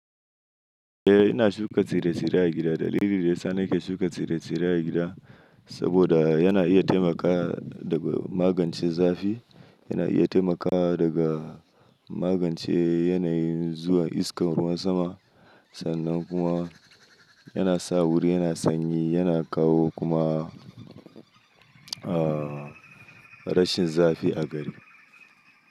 Eh, ina shuka tsire-tsire a gida. Dalilin da ya sa nake shuka tsire-tsire a gida, saboda yana iya taimakawa daga magance zafi. Yana iya taimakawa daga magance yanayin zuwan iskar ruwan sama. Sannan kuma yana sa wuri yana sanyi, yana kawo kuma, ahh, rashin zafi a gari.